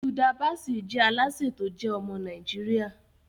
Hilda Baci jẹ alase to je ọmọ Naijiria